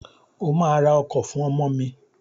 O ma ra ọkọ̀ fún ọmọ mi!